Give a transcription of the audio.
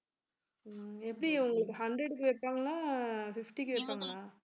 எப்படி உங்களுக்கு hundred க்கு வைப்பாங்களா fifty க்கு வைப்பாங்களா